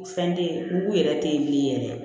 Fɛn tɛ ye mugu yɛrɛ tɛ ye bilen yɛrɛ